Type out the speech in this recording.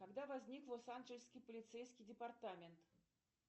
когда возник лос анджелесский полицейский департамент